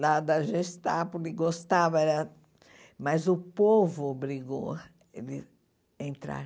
lá da Gestapo, ele gostava era, mas o povo obrigou ele a entrar.